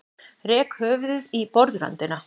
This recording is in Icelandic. Rek höfuðið í borðröndina.